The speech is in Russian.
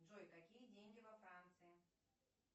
джой какие деньги во франции